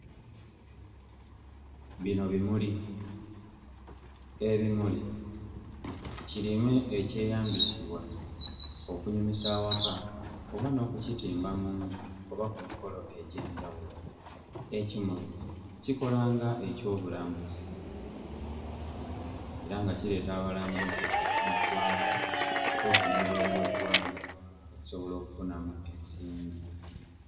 Bino bimuli, ebimuli kirime ekyeyambisibwa okunyumisa awaka oba n'okukitimba mu nju oba ku mikolo egy'enjawulo. Ekimuli kikola nga ekyobulambuzi era nga kireeta abalambuzi oh mu ggwanga mpozzi n'ebweru w'eggwanga okusobola okufunamu ensimbi.